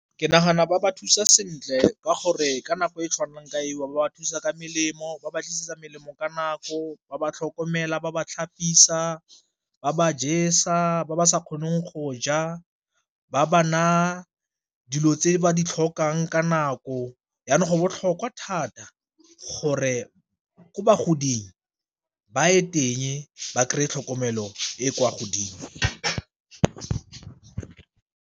Ke nagana ba ba thusa sentle ka gore ka nako e tshwanang ka eo ba thusa ka melemo, ba ba tlisetsa melemo ka nako, ba tlhokomela ba ba tlhapisiwa, ba ba jesa ba ba sa kgoneng go ja, ba ba na dilo tse ba di tlhokang ka nako, jaanong go botlhokwa thata gore ko ba godileng ba ye teng ba kry-e tlhokomelo e e kwa godimo.